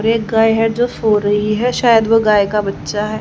एक गाय है जो सो रही है शायद वह गाय का बच्चा है।